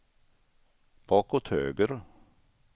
bakåt höger